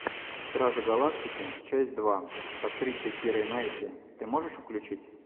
стражи галактики часть два с актрисой кирой найтли ты можешь включить